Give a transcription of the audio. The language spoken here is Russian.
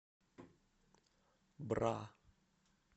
бра